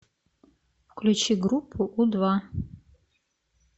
включи группу у два